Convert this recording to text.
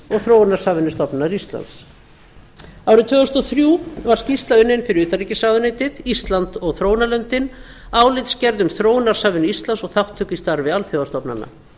þróunarsamvinnustofnunar íslands árið tvö þúsund og þrjú var skýrsla unnin fyrir utanríkisráðuneytið ísland og þróunarlöndin álitsgerð um þróunarsamvinnu íslands og þátttöku í starfi alþjóðastofnana